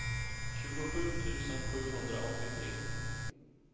tjugosju tusen sjuhundraåttiotre